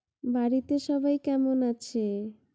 বাড়িতে সবাই কেমন আছে?